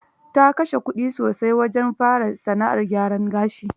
Ta kashe kudi sosai wajen fara sana'ar gyaran gashi.